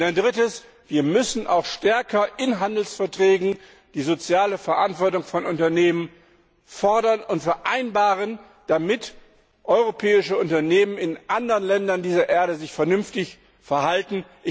Und ein Drittes Wir müssen auch in Handelsverträgen die soziale Verantwortung von Unternehmen stärker fordern und vereinbaren, damit sich europäische Unternehmen in anderen Ländern dieser Erde vernünftig verhalten.